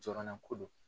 Jɔrɔnako don